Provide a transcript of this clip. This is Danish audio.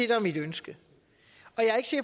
er mit ønske